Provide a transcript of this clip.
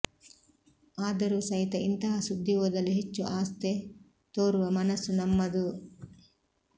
ಆದರು ಸಹಿತ ಇಂತಹ ಸುದ್ದಿ ಓದಲು ಹೆಚ್ಚು ಆಸ್ಥೆ ತೋರುವ ಮನಸ್ಸು ನಮ್ಮದು